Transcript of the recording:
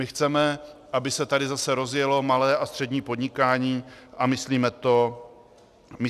My chceme, aby se tady zase rozjelo malé a střední podnikání, a myslíme to vážně.